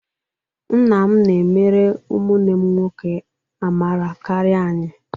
Nna m na-emere ụmụnne m nwoke amara karịa anyị